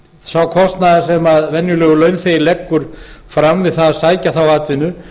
sá kostnaður sem venjulegur launþegi leggur fram við að sækja þá atvinnu